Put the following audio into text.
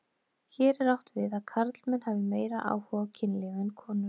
Hér er átt við að karlmenn hafi meiri áhuga á kynlífi en konur.